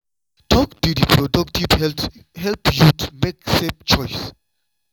talk di reproductive health help youth make safe choice.